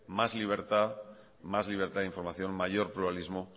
más libertad de información mayor pluralismo